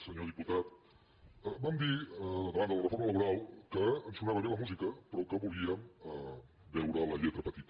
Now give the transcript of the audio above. senyor diputat vam dir davant de la reforma laboral que ens sonava bé la mú·sica però que volíem veure la lletra petita